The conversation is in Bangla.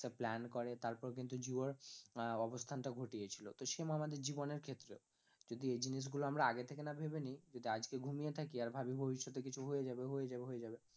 Plan করে তারপর কিন্তু জিও র আহ অবস্থান টা ঘটিয়েছিল, তো same আমাদের জীবনের ক্ষেত্রেও যদি এই জিনিসগুলো আমরা আগে থেকে না ভেবে নিই, যদি আজকে ঘুমিয়ে থাকি আর ভাবি ভবিষ্যতে কিছু হয়ে যাবে হয়ে যাবে হয়ে যাবে